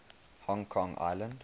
hong kong island